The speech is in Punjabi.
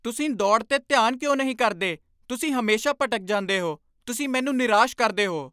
ਤੁਸੀਂ ਦੌੜ 'ਤੇ ਧਿਆਨ ਕਿਉਂ ਨਹੀਂ ਕਰਦੇ? ਤੁਸੀਂ ਹਮੇਸ਼ਾ ਭਟਕ ਜਾਂਦੇ ਹੋ। ਤੁਸੀਂ ਮੈਨੂੰ ਨਿਰਾਸ਼ ਕਰਦੇ ਹੋ ।